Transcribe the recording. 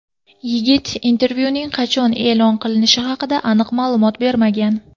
Yigit intervyuning qachon e’lon qilinishi haqida aniq ma’lumot bermagan.